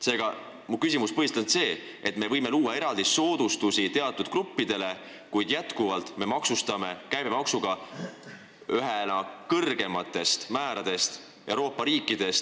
Seega, mu küsimus on, miks me loome eraldi soodustusi teatud gruppidele, kuid maksustame ravimeid käibemaksu määraga, mis on kõrgeimaid Euroopa riikides.